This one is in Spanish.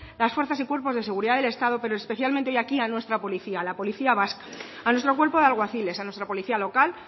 las fuerzas y cuerpos de seguridad del estado pero especialmente y aquí a nuestra policía vasca a nuestro cuerpo de alguaciles a nuestra policía local